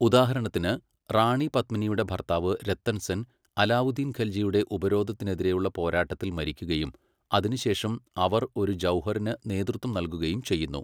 ഉദാഹരണത്തിന്, റാണി പത്മിനിയുടെ ഭർത്താവ് രത്തൻ സെൻ അലാവുദ്ദീൻ ഖൽജിയുടെ ഉപരോധത്തിനെതിരെയുള്ള പോരാട്ടത്തിൽ മരിക്കുകയും, അതിനുശേഷം അവർ ഒരു ജൗഹറിന് നേതൃത്വം നൽകുകയും ചെയ്യുന്നു.